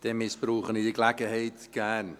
Dann missbrauche ich diese Gelegenheit gerne.